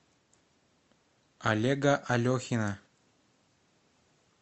олега алехина